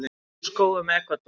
Mynd úr skógum Ekvador.